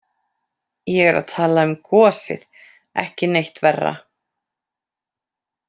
Ég er að tala um gosið, ekki neitt verra.